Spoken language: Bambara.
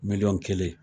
Miliyɔn kelen